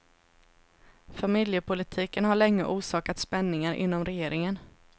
Familjepolitiken har länge orsakat spänningar inom regeringen.